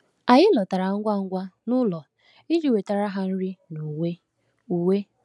Anyị lọtara ngwa ngwa n’ụlọ iji wetara ha nri na uwe. uwe.